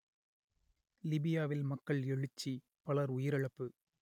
லிபியாவில் மக்கள் எழுச்சி பலர் உயிரிழப்பு